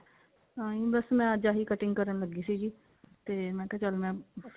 ਤਾਂਹੀ ਬਸ ਮੈਂ ਅੱਜ ਆਹੀ cutting ਕਰਨ ਲੱਗੀ ਸੀਗੀ ਤੇ ਮੈਂ ਕਿਹਾ ਚੱਲ ਮੈਂ